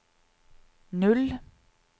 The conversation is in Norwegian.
null